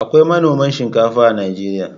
Akwai manoman shinkafa a Najeriya.